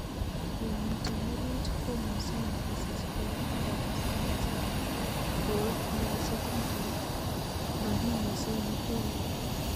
yamiten orit komuchen kosichnge ak kotesta kochang'a ,ko yachengituk."makimucheng ikuni.